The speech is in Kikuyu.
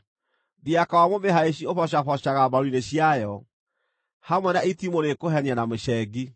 Thiaka wa mũmĩhaici ũbocabocaga mbaru-inĩ ciayo, hamwe na itimũ rĩkũhenia na mĩcengi.